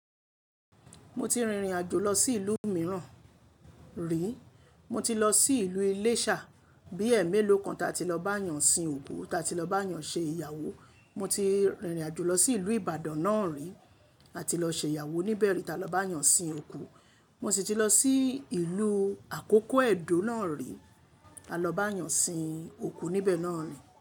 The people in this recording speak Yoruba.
Mo ti rìn rìnàjò lọ sí ìlú mìíràn rì. Mo ti lọ sí ìlú Iléṣà, bí ẹ́emélòó kan ta ti lọ bá eeyàn sìn òkú, ta ti lọ bá eeyàn ṣe ìyàwó. Mo ti rìn rìnàjò lọ sí ìlú Ìbàdàn náà rì, a ti lọ ṣe ìyàwó níbẹ̀ rí, ta lọ bá eeyàn sìn òkú. Mo sì ti lọ sí ìlú àkókó Ẹ̀dó náà rì, a lọ bá eeyàn sìn òkú níbẹ̀ náà nì.